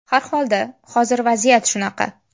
Har holda, hozir vaziyat shunaqa.